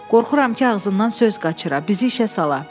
Qorxuram ki, ağzımdan söz qaçıra, bizi işə sala.